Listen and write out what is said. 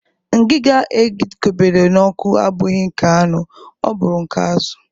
Ngiga e kobere n'ọkụ abụghị nke anụ, ọ bụrụ nke azụ.